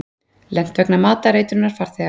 Lent vegna matareitrunar farþega